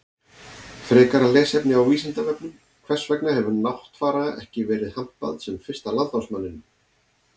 Frekara lesefni á Vísindavefnum: Hvers vegna hefur Náttfara ekki verið hampað sem fyrsta landnámsmanninum?